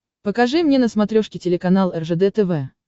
покажи мне на смотрешке телеканал ржд тв